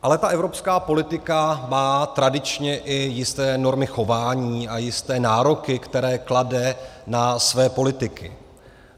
Ale ta evropská politika má tradičně i jisté normy chování, ale jisté nároky, které klade na své politiky.